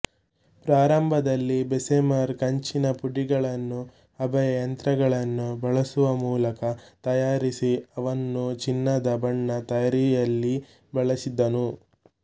ಪ್ರಾರಂಭದಲ್ಲಿ ಬೆಸ್ಸೆಮರ್ ಕಂಚಿನ ಪುಡಿಗಳನ್ನು ಹಬೆಯ ಯಂತ್ರಗಳನ್ನು ಬಳಸುವ ಮೂಲಕ ತಯಾರಿಸಿ ಅವನ್ನು ಚಿನ್ನದ ಬಣ್ಣ ತಯಾರಿಯಲ್ಲಿ ಬಳಸಿದನು